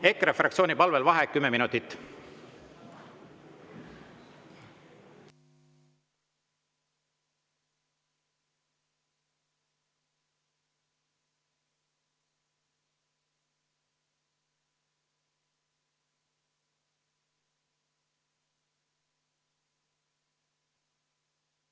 EKRE fraktsiooni palvel vaheaeg kümme minutit.